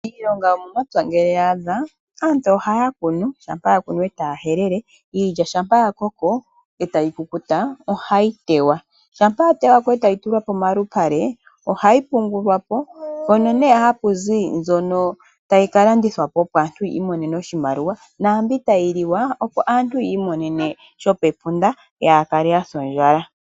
Iilonga yomomapya ngele yaadha, aantu ohaya kunu, ngele yakunu etaya helele. Iilya ngele yakoko, etayi tewa. Ngele yatewa , ohayi tulwa pomalupale ohayi yungulwapo. Ohapu zi mbyoka tayi ka landithwa naambyoka tayi kaliwa opo aantu kaaya se ondjala.